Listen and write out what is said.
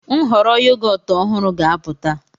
Nhọrọ yogọt ọhụrụ ga-apụta.